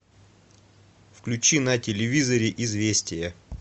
включи на телевизоре известия